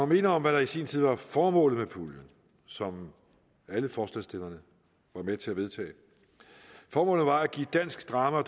minde om hvad der i sin tid var formålet med puljen som alle forslagsstillerne var med til at vedtage formålet var at give dansk drama